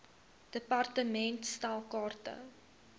department stel kaarte